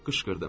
Qışqırdım.